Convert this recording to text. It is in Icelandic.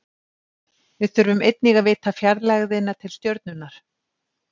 Við þurfum einnig að vita fjarlægðina til stjörnunnar.